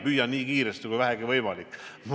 Püüan nii kiiresti, kui vähegi võimalik.